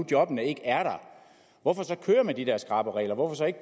jobbene ikke er der hvorfor så køre med de der skrappe regler hvorfor så ikke